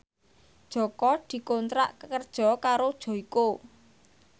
Jaka dikontrak kerja karo Joyko